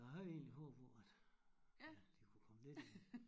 Så jeg havde egentlig håbet på at at de kunne komme lidt ind